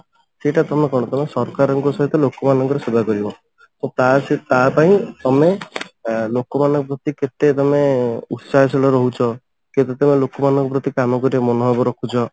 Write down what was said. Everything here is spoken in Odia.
ସେଇଟା ତମେ କଣ କଲ ସରକାରଙ୍କ ସହିତ ଲୋକମାନଙ୍କ ସେବା କରିବ ସେ ତା ସେ ତା ପାଇଁ ତମେ ଆ ଲୋକ ମାନଙ୍କ ପ୍ରତି କେତେ ତମେ ଉତ୍ସାହଶୀଳ ରହୁଛ କି total ଭାବେ ଲୋକମାନଙ୍କ ପ୍ରତି କାମ କରିବାର ମନଭାବ ରଖୁଛ